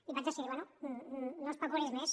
i vaig decidir bé no especulis més